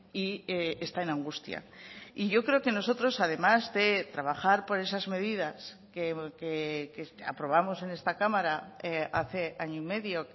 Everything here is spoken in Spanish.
y está en angustia y yo creo que nosotros además de trabajar por esas medidas que aprobamos en esta cámara hace año y medio